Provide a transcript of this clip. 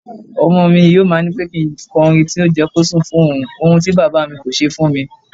Ọmọmi yóò ma nípẹ́ kí nkọrin tí yọ jẹ́kí ó sùn fún ohun, ohun tí Bàbámi kò ṣe fúnmi.